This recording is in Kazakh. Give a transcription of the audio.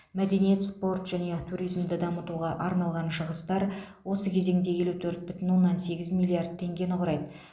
мәдениет спорт және туризмді дамытуға арналған шығыстар осы кезеңде елу төрт бүтін оннан сегіз миллиард теңгені құрайды